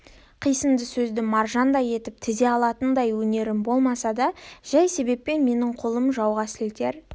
қисынды сөзді маржандай етіп тізе алатындай өнерім болмаса да жай себеппен менің қолым жауға сілтер